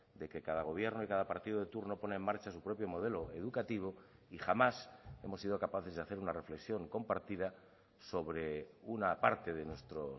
de que cada gobierno y cada partido de turno pone en marcha su propio modelo educativo y jamás hemos sido capaces de hacer una reflexión compartida sobre una parte de nuestro